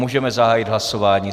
Můžeme zahájit hlasování.